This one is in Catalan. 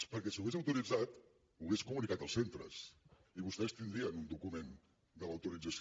perquè si ho hagués autoritzat ho hagués comunicat als centres i vostès tindrien un document de l’autorització